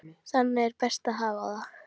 Þannig er best að hafa það.